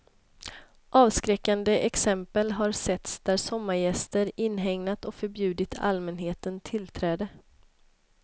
Avskräckande exempel har setts där sommargäster inhägnat och förbjudit allmänheten tillträde.